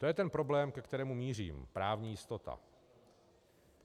- To je ten problém, ke kterému mířím, právní jistota.